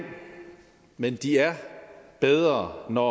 men de er bedre når